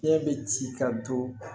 Fiɲɛ be ci ka don